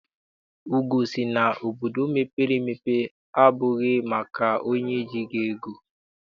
Ugoo sị na obodo mepere emepe abụghị maka onye ejighị ego.